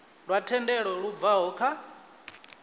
lwa thendelo lu bvaho kha